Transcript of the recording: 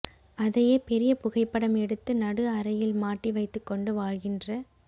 அதையே பெரியப் புகைப்படம் எடுத்து நடு அறையில் மாட்டி வைத்துக் கொண்டு வாழ்கின்ற